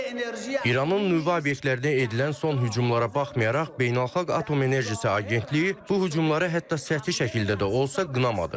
İranın nüvə obyektlərinə edilən son hücumlara baxmayaraq, Beynəlxalq Atom Enerjisi Agentliyi bu hücumları hətta səthi şəkildə də olsa qınamadı.